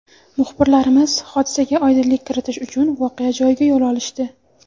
Muxbirlarimiz hodisaga oydinlik kiritish uchun voqea joyiga yo‘l olishdi.